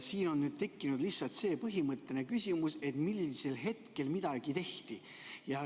Siin on tekkinud lihtsalt see põhimõtteline küsimus, millisel hetkel midagi tehti.